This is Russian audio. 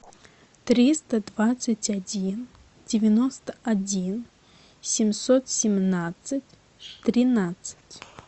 триста двадцать один девяносто один семьсот семнадцать тринадцать